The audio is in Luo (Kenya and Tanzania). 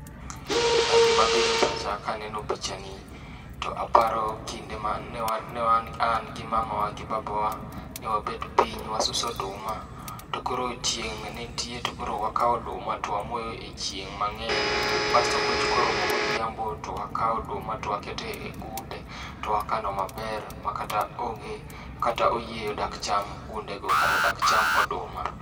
Gima biro e pacha ka aneno pichani to aparo kinde mane wan an gi mamawa gi babawa ne wabet piny wasuso oduma to koro chieng' ne nitie. Tokoro wakao oduma to wamoyo e chieng' mang'eny bas to koromo godhiambo, to wakao oduma to waketo egunde. To wakano maber makata onge kata oyieyo dak cham gundego kata dak cham oduma.